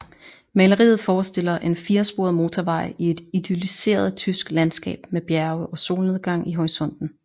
Maleriet forestiller en firesporet motorvej i et idylliseret tysk landskab med bjerge og solnedgang i horisonten